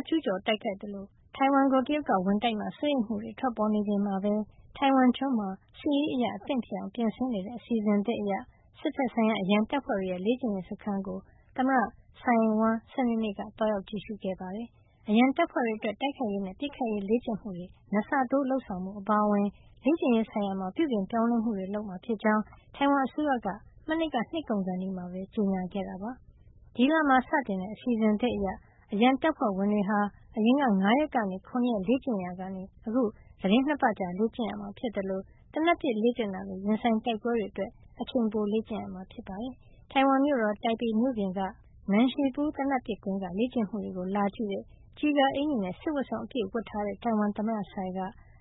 းက ကျုးကျော်တိုက်ခိုက်သလို ထိုင်ဝမ်ကို တရုတ်ကဝင်တိုက်မှာ စိုးရိမ်မှုတွေ ထွက်ပေါ်နေချိန်မှာပဲ ထိုင်ဝမ်ကျွန်းမှာ စစ်ရေးအရ အသင့်ဖြစ်အောင် ပြင်ဆင်နေတဲ့ အစီအစဉ်သစ်အရ စစ်ဘက်ဆိုင်ရာ အရန်တပ်ဖွဲ့တွေရဲ့ လေ့ကျင့်ရေးစခန်းကို သမ္မတ Tsai Ing-wen စနေနေ့က သွားရောက်ကြည့်ရှုပါတယ်။ အရန်တပ်ဖွဲ့တွေအတွက် တိုက်ခိုက်ရေးနဲ့ ပစ်ခတ်ရေး လေ့ကျင့်မှုတွေ ၂ ဆတိုး လုပ်ဆောင်မှု အပါအဝင် လေ့ကျင့်ရေးဆိုင်ရာမှာ ပြုပြင်ပြောင်းလဲမှှုတွေ လုပ်ဆောင်မှာဖြစ်ကြောင်း ထိုင်ဝမ်အစိုးရက မနှစ်က နှစ်ကုန်ခါနီးမှာပဲ ကြေညာခဲ့တာပါ။ ဒီလမှာစတင်တဲ့ အစီအစဉ်သစ်အရ အရန်တပ်ဖွဲ့ဝင်တွေဟာ အရင်က ၅ ရက်ကနေ ၇ ရက် လေ့ကျင့်နေရာကနေ အခုသီတင်း ၂ ပတ်ကြာ လေ့ကျင့်ရမှာဖြစ်သလို သေနတ်ပစ်လေ့ကျင့်တာလို ရင်ဆိုင်တိုက်ပွဲတွေအတွက် အချိန်ပို လေ့ကျင့်ရမှာ ဖြစ်ပါတယ်။ ထိုင်ဝမ်မြို့တော် တိုင်ပေမြို့ပြင်က Nanshipu သေနတ်ပစ်ကွင်းက လေ့ကျင့်မှုတွေကို လာကြည့်တဲ့ ကျည်ကာအင်္ကျီနဲ့ စစ်ဝတ်စုံပြည့် ဝတ်ထားတဲ့ ထိုင်ဝမ်သမ္မတ Tsai က